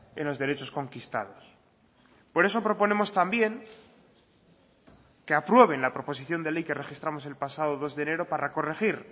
en los derechos conquistados por eso proponemos también que aprueben la proposición de ley que registramos el pasado dos de enero para corregir